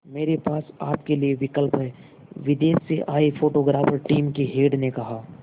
मेरे पास आपके लिए विकल्प है विदेश से आए फोटोग्राफर टीम के हेड ने कहा